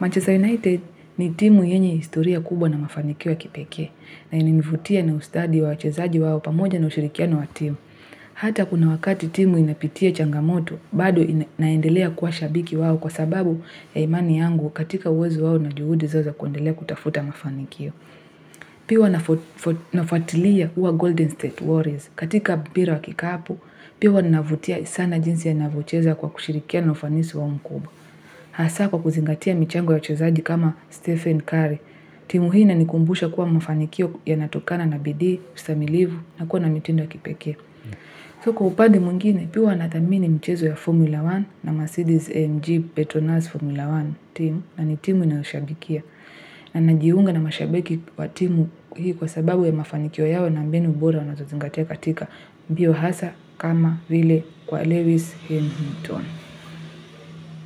Manchester United ni timu yenye historia kubwa na mafanikio ya kipekee. Na inanivutia na ustadi wa wachezaji wao pamoja na ushirikiano wa timu. Hata kuna wakati timu inapitia changamoto, bado inaendelea kuwa shabiki wao kwa sababu ya imani yangu katika uwezo wao na juhudi zoza kundelea kutafuta mafanikio. Pia nafuatilia Golden State Warriors katika mpira wa kikapu Pia huwa ninavutia sana jinsi yanavyocheza kwa kushirikiana na ufanisi wao mkuu Hasa kwa kuzingatia michango ya wachezaji kama Stephen Curry timu hii inanikumbusha kuwa mafanikio yanatokana na bidii, ustahimilivu na kuwa na mitindo ya kipekee kwa upande mwingine pia huwa nathamini mchezo ya Formula 1 na Mercedes AMG Petronas Formula 1 team na ni timu ninayoshabikia na najiunga na mashabiki wa timu hii kwa sababu ya mafanikio yao na mbinu bora wanazozingatia katika mbio hasa kama vile kwa Lewis Hamilton.